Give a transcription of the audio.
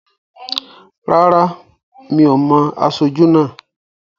Rárá, mi ò mo aṣojú náà